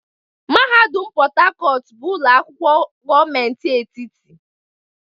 Mahadum Port Harcourt bụ ụlọ akwụkwọ gọọmentị etiti.